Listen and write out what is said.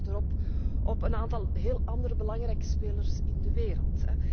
Wij hinken achterop op een aantal heel andere belangrijke spelers in de wereld.